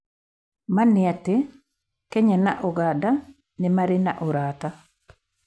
Ma nĩ atĩ, Kenya na ũganda nĩ marĩ na ũrata